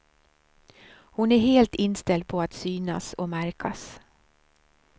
Hon är helt inställd på att synas och märkas.